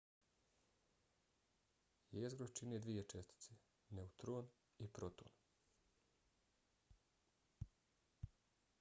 jezgro čine dvije čestice - neutron i proton